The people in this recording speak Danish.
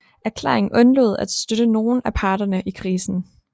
Erklæringen undlod at støtte nogen af parterne i krisen